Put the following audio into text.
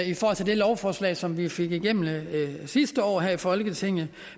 i forhold til det lovforslag som vi fik igennem sidste år her i folketinget